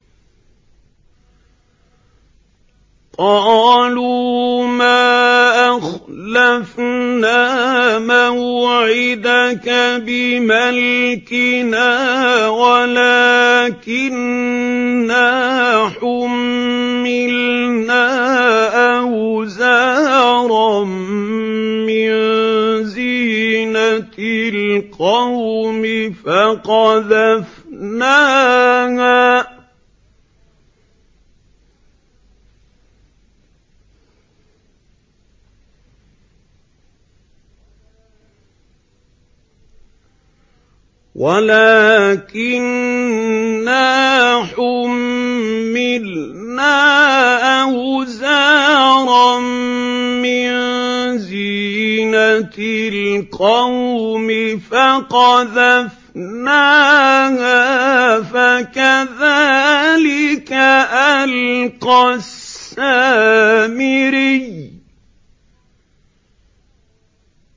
قَالُوا مَا أَخْلَفْنَا مَوْعِدَكَ بِمَلْكِنَا وَلَٰكِنَّا حُمِّلْنَا أَوْزَارًا مِّن زِينَةِ الْقَوْمِ فَقَذَفْنَاهَا فَكَذَٰلِكَ أَلْقَى السَّامِرِيُّ